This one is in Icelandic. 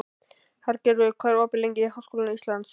Hergerður, hvað er opið lengi í Háskóla Íslands?